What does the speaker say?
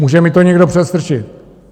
Může mi to někdo předstrčit.